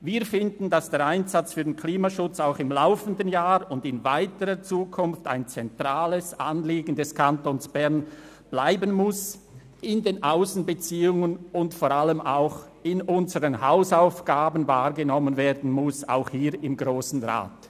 Wir finden, dass der Einsatz für den Klimaschutz auch im laufenden Jahr und in weiterer Zukunft ein zentrales Anliegen des Kantons Bern bleiben und sowohl in den Aussenbeziehungen als auch vor allem in unseren Hausaufgaben wahrgenommen werden muss, dies auch hier im Grossen Rat.